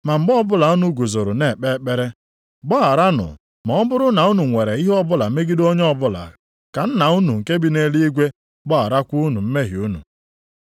Ma mgbe ọbụla unu guzoro na-ekpe ekpere, gbagharanụ, ma ọ bụrụ na unu nwere ihe ọbụla megide onye ọbụla, ka Nna unu nke bi nʼeluigwe gbagharakwa unu mmehie unu.